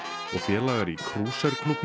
og félagar í